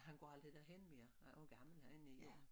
Han går aldrig derhen mere han er jo en gammel han er 9 år